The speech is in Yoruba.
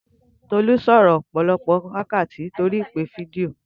Tolú sọ̀rọ̀ fún ọ̀pọ̀lọpọ̀ wákàtí lórii ìpè fídíò